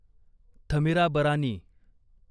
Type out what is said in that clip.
Thamirabarani